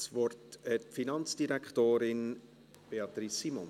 Das Wort hat die Finanzdirektorin: Beatrice Simon.